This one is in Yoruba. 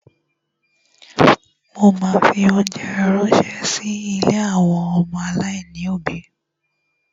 Mo ma fi óńjẹ ránṣẹ́ sí ilé àwọn ọmọ aláìní òbí.